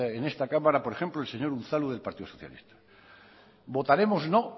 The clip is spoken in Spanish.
en esta cámara por ejemplo el señor unzalu del partido socialista votaremos no